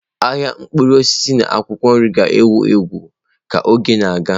Ahịa mkpụrụ osisi na akwụkwọ nri ga-ewu ewu ka oge na-aga.